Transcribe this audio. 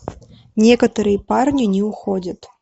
некоторые парни не уходят